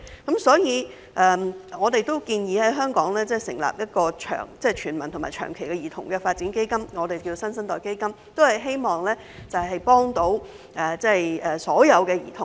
因此，我們建議在香港成立一個涵蓋全民和長期的兒童發展基金，並稱之為"新生代基金"，目的是幫助所有兒童。